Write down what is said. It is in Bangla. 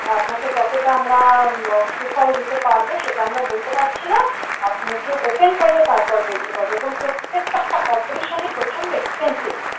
আপনাকে কতটা আমরা সুফল দিতে পারবো সেটা আমরা বলতে পারছি না আপনার চোখ ওপেন করলে তারপর বলতে পারবো এবং প্রত্যেকটা operation প্রচন্ড expensive